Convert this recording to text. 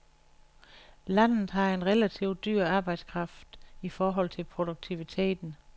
Landet har en relativ dyr arbejdskraft i forhold til produktiviteten.